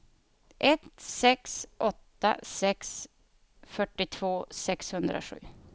ett sex åtta sex fyrtiotvå sexhundrasju